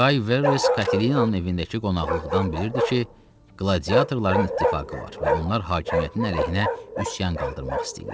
Qay Verres Katelinanın evindəki qonaqlıqdan bilirdi ki, qladiyatorların ittifaqı var və onlar hakimiyyətin əleyhinə üsyan qaldırmaq istəyirlər.